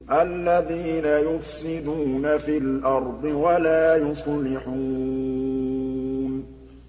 الَّذِينَ يُفْسِدُونَ فِي الْأَرْضِ وَلَا يُصْلِحُونَ